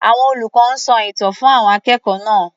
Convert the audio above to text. Àwọn olùkọ́ ń sọ ìtàn fún àwọn akẹ́kọ̀ọ́ náá̀.